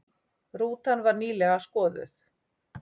Rútan var nýlega skoðuð